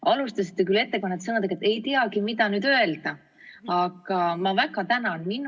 Te alustasite küll oma ettekannet sõnadega, et "ei teagi, mida nüüd öelda", aga ma väga tänan!